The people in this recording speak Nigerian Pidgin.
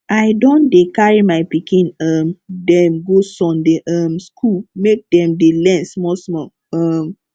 i don dey carry my pikin um dem go sunday um skool make dem dey learn small small um